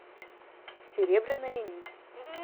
серебряная нить